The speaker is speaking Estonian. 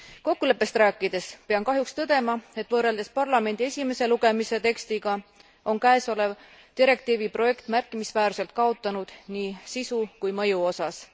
Kokkuleppest rääkides pean kahjuks tõdema, et võrreldes parlamendi esimese lugemise tekstiga on käesolev direktiivi projekt märkimisväärselt kaotanud nii sisu kui ka mõju osas.